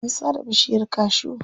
An sare bishiyar cashew.